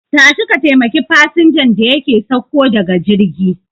Tashi ka taimaki fasinjan da yake sauko daga jirgi